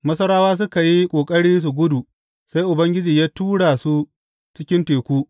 Masarawa suka yi ƙoƙari su gudu, sai Ubangiji ya tura su cikin teku.